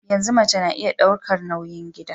Yanzu mace na iya daukar nauyin gida